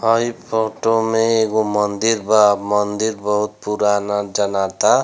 हई फोटो में एगो मंदिर बा मंदिर बहुत पुराना जनाता।